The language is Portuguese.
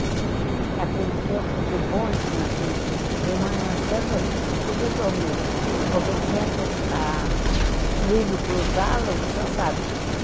Naquele tempo de bonde, minha filha, de manhã cedo, a gente não podia dormir, porque tinha a trilho cruzado, você sabe.